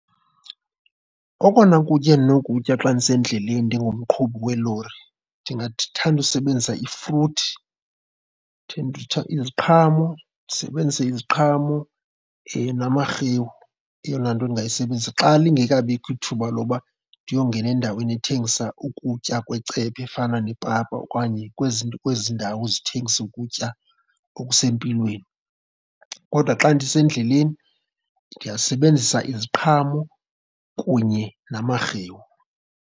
Okona kutya endinokukutya xa ndisendleleni ndingumqhubi weelori ndingathanda usebenzisa ifruthi, iziqhamo. Ndisebenzise iziqhamo namarhewu, eyona nto ndingayisebenzisa xa lingekabikho ithuba loba ndiyongena endaweni ethengisa ukutya kwecephe efana nepapa okanye kwezi kwezi ndawo ezithengisa ukutya okusempilweni. Kodwa xa ndisendleleni ndingasebenzisa iziqhamo kunye namarhewu.